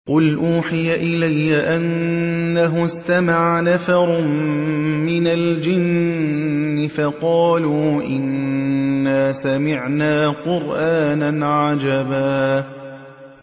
قُلْ أُوحِيَ إِلَيَّ أَنَّهُ اسْتَمَعَ نَفَرٌ مِّنَ الْجِنِّ فَقَالُوا إِنَّا سَمِعْنَا قُرْآنًا عَجَبًا